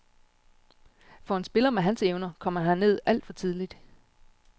For en spiller med hans evner kom han herned alt for tidligt.